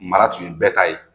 Mara tun ye bɛɛ ta ye